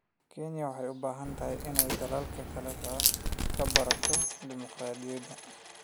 Kenya waxay u baahan tahay inay dalalka kale ka barato dimuqraadiyadda.